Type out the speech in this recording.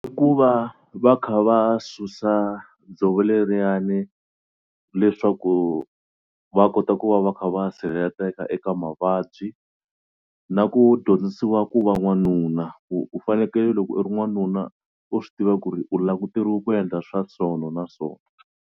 I ku va va kha va susa dzovo leriyani leswaku va kota ku va va kha va sirheleteka eka mavabyi na ku dyondzisiwa ku va n'wanuna ku u fanekele loko u ri n'wanuna u swi tiva ku ri u languteriwe ku endla swa sona na so.